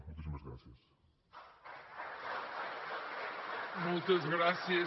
moltíssimes gràcies